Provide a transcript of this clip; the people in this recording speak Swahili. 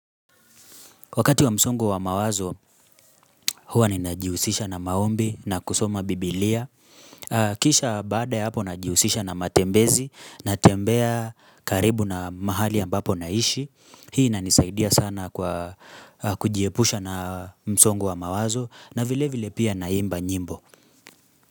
Wakati wa msongo wa mawazo, huwa ninajihusisha na maombi na kusoma biblia. Kisha baada ya hapo najihusisha na matembezi, natembea karibu na mahali ambapo naishi. Hii inanisaidia sana kwa kujiepusha na msongo wa mawazo na vile vile pia naimba nyimbo.